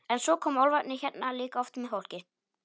En svo koma álfarnir hérna líka oft með fólki.